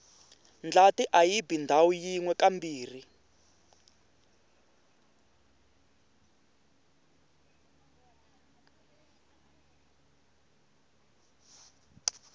ndlati ayibi ndhawu yinwe kambirhi